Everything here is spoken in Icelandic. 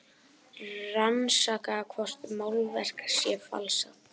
Rannsaka hvort málverk sé falsað